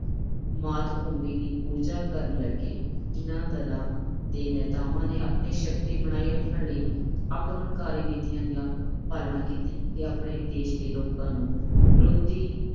ਮਾਤ ਭੂਮੀ ਦੀ ਪੂਜਾ ਕਰਨ ਲੱਗੇ। ਇਨ੍ਹਾਂ ਦਲਾਂ ਦੇ ਨੇਤਾਵਾਂ ਨੇ ਆਪਣੀ ਸ਼ਕਤੀ ਬਣਾਈ ਰੱਖਣ ਲਈ ਆਕਰਮਨਕਾਰੀ ਨੀਤੀਆਂ ਦੀ ਪਾਲਣਾ ਕੀਤੀ ਤੇ ਆਪਣੇ ਦੇਸ਼ ਦੇ ਲੋਕਾਂ ਨੂੰ ਵਿਰੋਧੀ